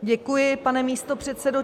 Děkuji, pane místopředsedo.